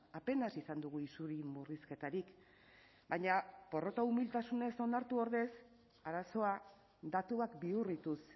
apenas izan dugu isuri murrizketarik baina porrota umiltasunez onartu ordez arazoa datuak bihurrituz